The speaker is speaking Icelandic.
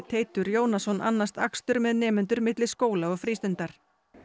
Teitur Jónasson annast akstur með nemendur milli skóla og frístundar